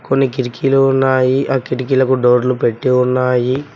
కొన్ని కిరికీలు ఉన్నాయి ఆ కిటికీలకు డోర్లు పెట్టి ఉన్నాయి.